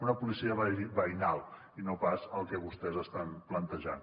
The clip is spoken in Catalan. una policia veïnal i no pas el que vostès estan plantejant